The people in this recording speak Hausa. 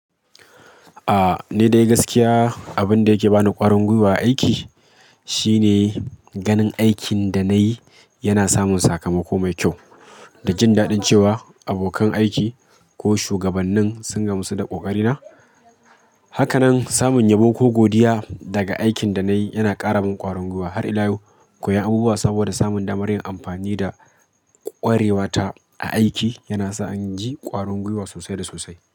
Ni dai gaskiya abin da yake bani ƙwarin gwiwa a aiki shine ganin aikin da nayi yana samun sakamako mai kyau. Da jin daɗin cewa abokan aiki ko shugabannin sun gamsu da ƙoƙarina. Hakanan samun yabo ko godiya daga aikin da nayi yana ƙara min ƙwarin gwiwa, har ila yau koyon abubuwa saboda samun damar yin amfani da ƙwarewa ta a aiki yana sa in ji ƙwarin gwiwa sosai da sosai.